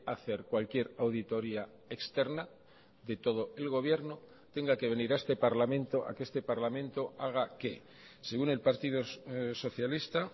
hacer cualquier auditoría externa de todo el gobierno tenga que venir a este parlamento a que este parlamento haga qué según el partido socialista